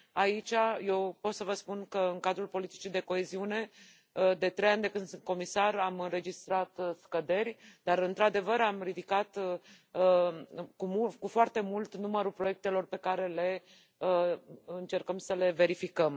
Aici, eu pot să vă spun că în cadrul politicii de coeziune, de trei ani de când sunt comisar, am înregistrat scăderi, dar, într adevăr, am ridicat cu foarte mult numărul proiectelor pe care încercăm să le verificăm.